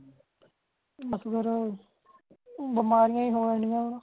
ਬਸ ਫੇਰ ਬਮਾਰੀਆਂ ਅਨਿਆਂ